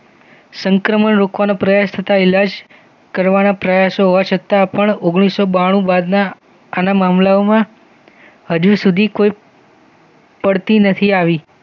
સંક્રમણ રોકવાના પ્રયાસ તથા ઈલાજ કરવાના પ્રયાસ હોવા છતાં પણ ઓગણીસૌ બાણું બાદના આના મામલાઓમ હજુ સુધી કોઈ પડતી નથી આવી.